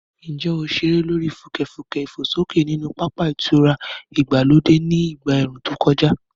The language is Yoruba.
Ǹjẹ́ o ṣeré lórí fùkẹ̀fùkẹ̀ ìfòsókè nínú pápá ìtura ìgbàlódé ní ìgbà ẹ̀ẹ̀rùn tó kọjá?